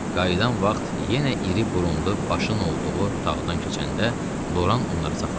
Qayıdan vaxt yenə iri burunlu başın olduğu otaqdan keçəndə Loran onları saxladı.